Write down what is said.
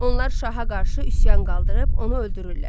Onlar şaha qarşı üsyan qaldırıb onu öldürürlər.